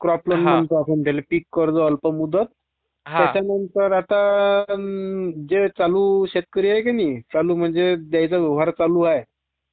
crop loan म्हणतो आपण...पिका कर्ज अल्पमुदत त्याच्यानंतर आता जे चालू शेतकरी आहे की नाही चालू म्हणजे ज्यांचा जुगाड चालू आहे